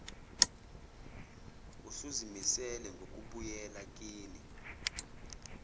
usuzimisele ngokubuyela kini